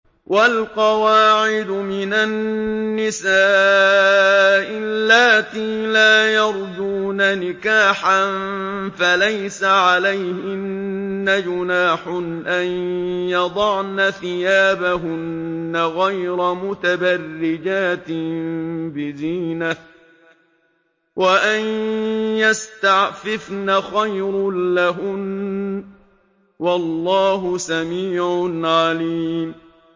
وَالْقَوَاعِدُ مِنَ النِّسَاءِ اللَّاتِي لَا يَرْجُونَ نِكَاحًا فَلَيْسَ عَلَيْهِنَّ جُنَاحٌ أَن يَضَعْنَ ثِيَابَهُنَّ غَيْرَ مُتَبَرِّجَاتٍ بِزِينَةٍ ۖ وَأَن يَسْتَعْفِفْنَ خَيْرٌ لَّهُنَّ ۗ وَاللَّهُ سَمِيعٌ عَلِيمٌ